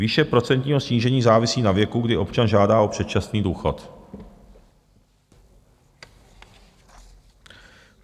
Výše procentního snížení závisí na věku, kdy občan žádá o předčasný důchod.